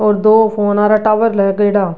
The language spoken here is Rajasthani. और दो फोनरा टावर लागेड़ा।